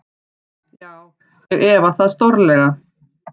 Já, ég efa það stórlega.